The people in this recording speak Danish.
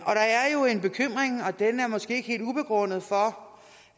er måske ikke helt ubegrundet for